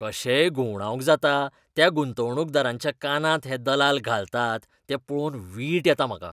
कशेय घुवंडावंक जाता त्या गुंतवणूकदारांच्या कानांत हे दलाल घालतात तें पळोवन वीट येता म्हाका.